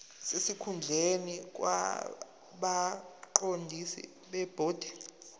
sesikhundleni kwabaqondisi bebhodi